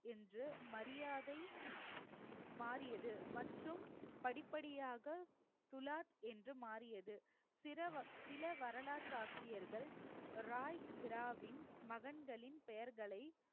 என்று மரியாதை மாறியது மற்றும் படிப்படியாக துலாத் என்று மாறியது சிரவ~ சில வரலாற்று ஆசிரியர்கள் ராய் பீராவின் மகன்களின் பெயர்களை